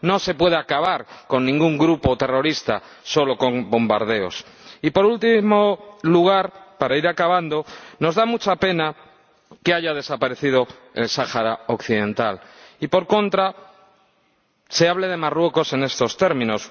No se puede acabar con ningún grupo terrorista solo con bombardeos. Y, por último lugar, para ir acabando, nos da mucha pena que haya desaparecido el Sáhara Occidental y, por contra, se hable de Marruecos en estos términos.